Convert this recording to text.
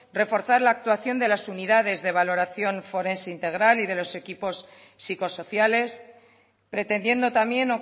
reforzar la actuación de las unidades de valoración forense integral y de los equipos psicosociales pretendiendo también